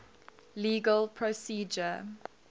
legal procedure